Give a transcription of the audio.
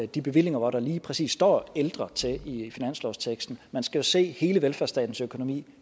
de bevillinger hvor der lige præcis står ældre i finanslovsteksten man skal se hele velfærdsstatens økonomi